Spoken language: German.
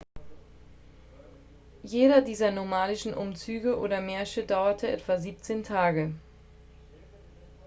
jeder dieser nomadischen umzüge oder märsche dauert etwa 17 tage